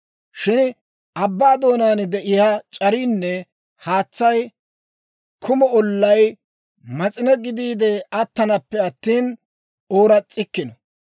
Shin abbaa doonaan de'iyaa c'ariinne haatsay kumo ollay mas'ine gidiide attanappe attina, ooras's'ikkino.